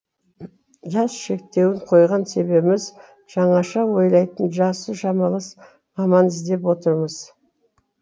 жас шектеуін қойған себебіміз жаңаша ойлайтын жасы шамалас маман іздеп отырмыз